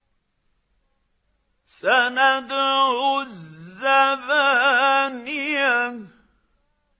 سَنَدْعُ الزَّبَانِيَةَ